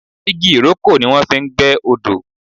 igi ìrókò ni wọ́n fi ń gbẹ́ odó.